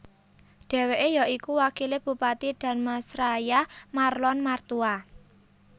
Dheweke ya iku wakile Bupati Dharmasraya Marlon Martua